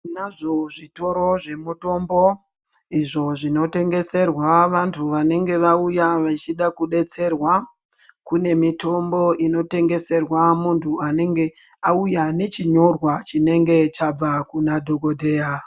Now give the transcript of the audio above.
Tonazvo zvitoro zvemitombo izvo zvinotengerwa vantu vanenge vauya vachida kudetserwa kune mitombo inotengeserwa muntu anenge auya nechinyorwa icho chinenge chabva kuna dhokodheya.